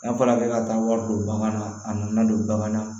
N'a fɔra k'e ka taa wari don bagan na a nana don bagan na